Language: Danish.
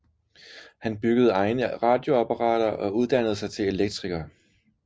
Han byggede egne radioapparater og uddannede sig til elektriker